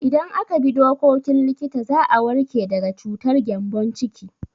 Idan aka bi dokokin likita za a warke daga cutar gyambon ciki.